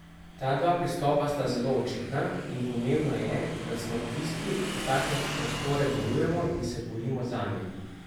Ta dva pristopa sta zelo očitna, in pomembno je, da smo tisti, ki take prostore varujemo in se borimo zanje.